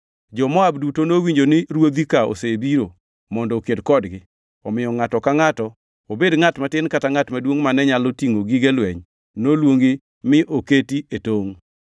Jo-Moab duto nowinjo ni ruodhi ka osebiro mondo oked kodgi, omiyo ngʼato ka ngʼato, obed ngʼat matin kata ngʼat maduongʼ mane nyalo tingʼo gige lweny noluongi mi oketi e tongʼ.